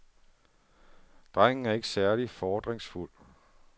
Drengen er ikke særlig fordringsfuld.